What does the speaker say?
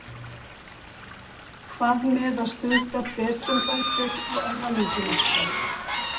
Hvað með að stunda betrumbætur á erfðamenginu okkar?